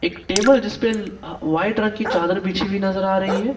एक टेबल जिसपे वाइट रंग की चादर बिछी नजर आ रही है।